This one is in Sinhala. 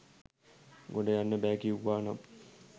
ගොඩ යන්න බෑ කිව්වා නම්